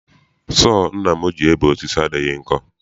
Sọọ nna m ji ebe osisi adịghị nkọ.